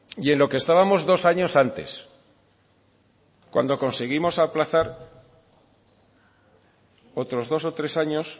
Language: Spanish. y en lo que estábamos dos años antes cuando conseguimos aplazar otros dos o tres años